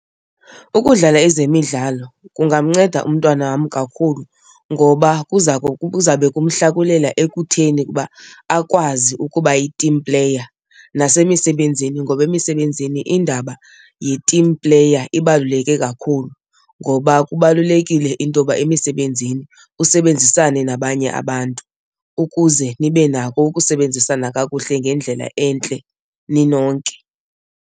Ukudlala ezemidlalo kungamnceda umntwana wam kakhulu ngoba kuza kuzabe kumhlakulela ekutheni ukuba akwazi ukuba yi-team player nasemisebenzini. Ngoba emisebenzini indaba yi-team player ibaluleke kakhulu ngoba kubalulekile into yoba emisebenzini usebenzisane nabanye abantu ukuze nibe nako ukusebenzisana kakuhle ngendlela entle ninonke.